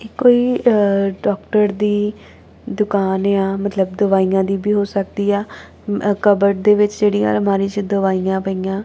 ਇਹ ਕੋਈ ਅ ਡਾਕਟਰ ਦੀ ਦੁਕਾਨ ਯਾ ਮਤਲਬ ਦਵਾਈਆਂ ਦੀ ਵੀ ਹੋ ਸਕਦੀਆ ਕਪਬਰਡ ਦੇ ਵਿੱਚ ਜੇੜੀਆਂ ਅਲਮਾਰੀ ਚ ਦਵਾਈਆਂ ਪਾਇਆਂ।